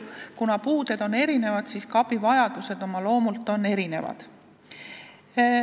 Kuna puuded on erinevad, on ka abivajadused oma loomult erinevad.